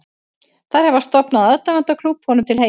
Þær hafa stofnað aðdáendaklúbb honum til heiðurs.